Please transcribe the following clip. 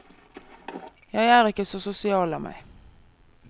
Jeg er ikke så sosial av meg.